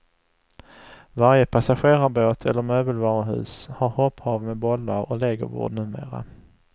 Varje passagerarbåt eller möbelvaruhus har hopphav med bollar och legobord numera.